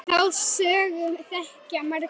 Þá sögu þekkja margir.